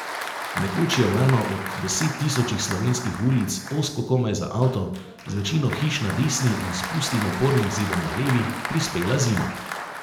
Nekoč je v eno od desettisočih slovenskih ulic, ozko komaj za avto, z večino hiš na desni in s pustim opornim zidom na levi, prispela zima.